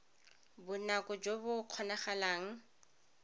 bonako jo bo ka kgonagalang